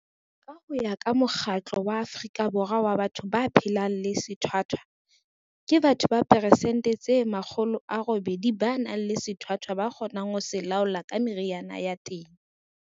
Ka ho ya ka Mokgatlo wa Afrika Borwa wa Batho ba phelang le Sethwathwa, ke batho ba persente di 80 ba nang le sethwathwa ba kgonang ho se laola ka meriana ya teng.